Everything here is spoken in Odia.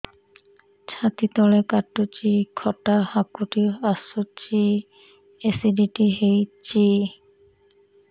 ଛାତି ତଳେ କାଟୁଚି ଖଟା ହାକୁଟି ଆସୁଚି ଏସିଡିଟି ହେଇଚି